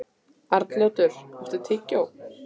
Arnljótur, áttu tyggjó?